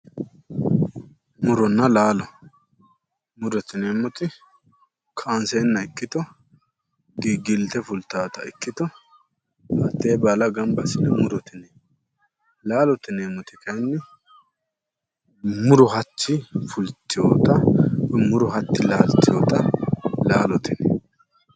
Muronna laalo, murote yineemmoti kaanseenna ikkito giggilte fultaata ikkito hattee baala gamba assine murote yineemmo. laalote yineemmoti kaayiinni muro hatti fultewoota, muro hatti laaltewoota laalote yineemmo.